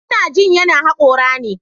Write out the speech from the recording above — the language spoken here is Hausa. Ina jin yana hakora ne.